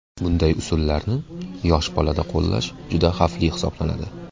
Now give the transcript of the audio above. Bunday usullarni yosh bolada qo‘llash juda xavfli hisoblanadi.